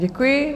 Děkuji.